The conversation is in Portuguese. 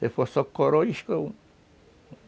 Se for só coroa, isca